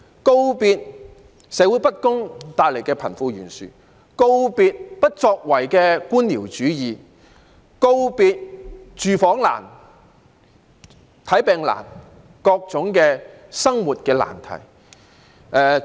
告別社會不公帶來的貧富懸殊，告別不作為的官僚主義，告別住房難、看病難和各種生活的難題。